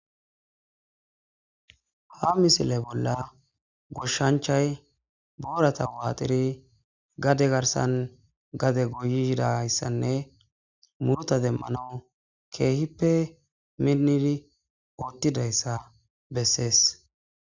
Ha misile bolla goshanichay borata waxidi gade garisan gade goyidaysanee muruta demanawu kehipe minidi othizaysa beses